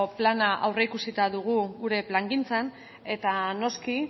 plana aurreikusita dugu gure plangintzan eta noski